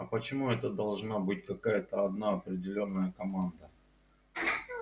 а почему это должна быть какая-то одна определённая команда